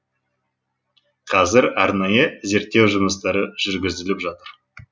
қазір арнайы зерттеу жұмыстары жүргізіліп жатыр